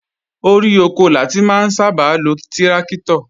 Orí oko la ti máa ń sábà lo tíráktọ̀